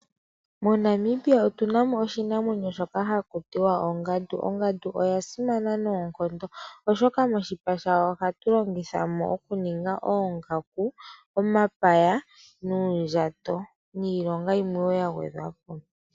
MoNamibia otuna mo oshinamwenyo shoka haku tiwa ongandu, ongandu oya simana noonkondo oshoka oshoka koshipa shayo ohaku zi oongaku ,omapaya nuundajato niilonga wo yimwe ya gwedhwa po.